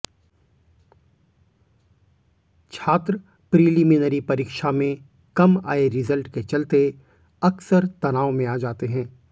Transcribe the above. छात्र प्रीलिमिनरी परीक्षा में कम आए रिजल्ट के चलते अक्सर तनाव में आ जाते हैं